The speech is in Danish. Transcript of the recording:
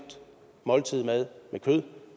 måltid mad med kød